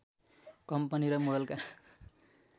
company र मोडलका